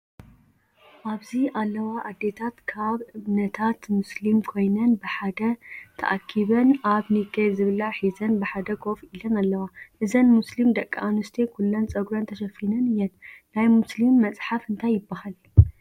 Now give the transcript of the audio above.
ኣብዚ ዘለዋ ኣዴታት ካብ እምነታት ሞስሊም ኮይነን በሓደ ተኣኪበን ኣብ ኒከል ዝብላዕ ሒዘን ብሓደ ኮፍ ኢለን ኣለዋ። እዘን ሞስሊም ደቂ ኣንስትዮ ኩለን ፀጉረን ተሸፊን እየን። ናይ ሞስሊም መስሓፍ እንታይ ይበሃል ?